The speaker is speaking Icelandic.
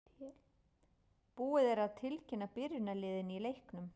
Búið er að tilkynna byrjunarliðin í leiknum.